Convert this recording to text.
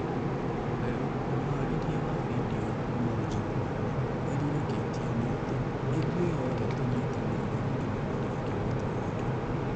Waweru mũharĩrĩa wa findio ĩyo kũma ũjeremani erire KTN atĩ "ithũĩ othe tũnyĩtanĩire gũkĩnyanĩria kĩroto gĩkĩ"